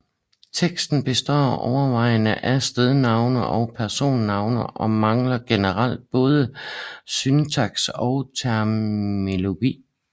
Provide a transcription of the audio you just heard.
Teksten består overvejende af stednavne og personnavne og mangler generelt både syntaks og terminologi